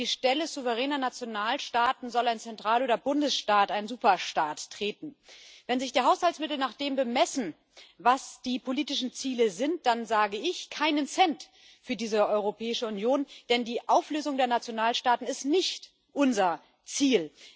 An die Stelle souveräner Nationalstaaten soll ein Zentral oder Bundesstaat ein Superstaat treten. Wenn sich die Haushaltsmittel nach dem bemessen, was die politischen Ziele sind, dann sage ich Keinen Cent für diese Europäische Union, denn die Auflösung der Nationalstaaten ist nicht unser Ziel.